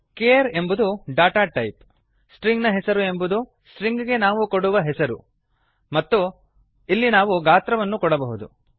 care ಎಂಬುದು data type string ನ ಹೆಸರು ಎಂಬುದು ಸ್ಟ್ರಿಂಗ್ ಗೆ ನಾವು ಕೊಡುವ ಹೆಸರು ಮತ್ತು ಇಲ್ಲಿ ನಾವು ಗಾತ್ರವನ್ನು ಕೊಡಬಹುದು